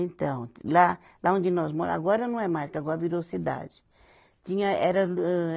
Então, lá, lá onde nós mora, agora não é mais porque agora virou cidade. Tinha, era